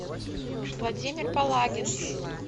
владимир палагин